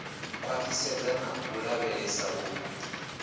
khwaṱhisedza na u lavhelesa u